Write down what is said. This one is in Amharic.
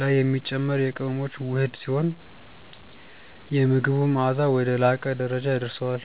ላይ የሚጨመር የቅመሞች ውህድ ሲሆን፣ የምግቡን መዓዛ ወደ ላቀ ደረጃ ያደርሰዋል።